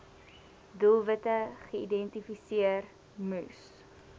doelwitte geïdentifiseer moes